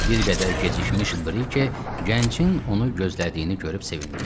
Bir qədər gecikmiş Brike gəncin onu gözlədiyini görüb sevindi.